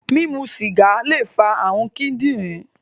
Mimu sìgá lè fa ààrùn kíndìnrín